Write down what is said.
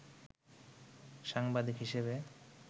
সাংবাদিক হিসেবে